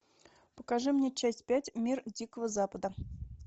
покажи мне часть пять мир дикого запада